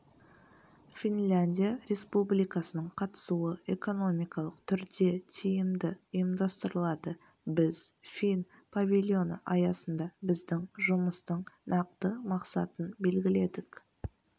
финляндия республикасының қатысуы экономикалық түрде тиімді ұйымдастырылады біз фин павильоны аясында біздің жұмыстың нақты мақсатын белгіледік